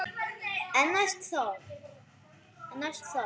En næst það?